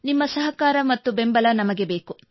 ನಿಮ್ಮ ಸಹಕಾರ ಮತ್ತು ಬೆಂಬಲ ನಮಗೆ ಬೇಕು